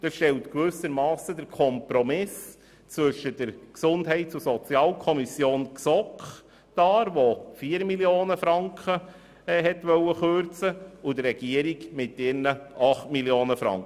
Diese Zahl stellt gewissermassen einen Kompromiss zwischen der GSoK dar, die eine Kürzung um 4 Mio. Franken vornehmen wollte, und der Regierung mit ihren 8 Mio. Franken.